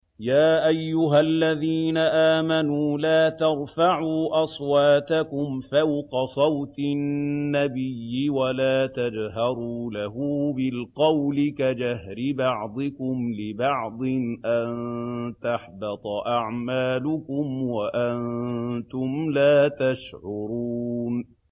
يَا أَيُّهَا الَّذِينَ آمَنُوا لَا تَرْفَعُوا أَصْوَاتَكُمْ فَوْقَ صَوْتِ النَّبِيِّ وَلَا تَجْهَرُوا لَهُ بِالْقَوْلِ كَجَهْرِ بَعْضِكُمْ لِبَعْضٍ أَن تَحْبَطَ أَعْمَالُكُمْ وَأَنتُمْ لَا تَشْعُرُونَ